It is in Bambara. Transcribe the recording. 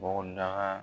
Bɔgɔdaga